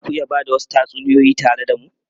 Za ku iya ba da wasu tatsuniyoyi tare da mu?